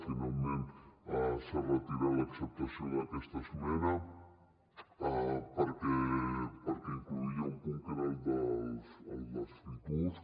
finalment s’ha retirat l’acceptació d’aquesta esmena perquè incloïa un punt que era el dels free tours